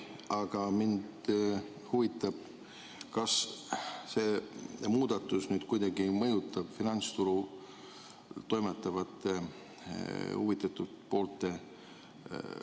Aga mind huvitab, kas see muudatus mõjutab kuidagi ka finantsturul toimetavaid huvitatud pooli.